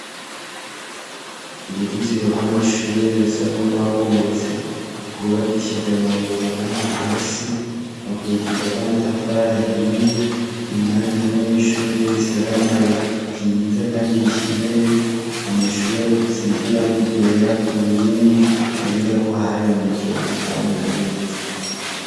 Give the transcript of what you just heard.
Uruzitiro rwamashure rusa nurwabomotse rwubakishije amabuye amagana hasi bakurikiza amatafari ahiye indani hari ishurwe ritaganaye ryiza kandi rishemeye amashure asize irangi ryera kunkingi bibonekako hari mwijoro hatabona neza